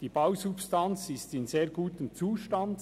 Die Bausubstanz ist in sehr gutem Zustand.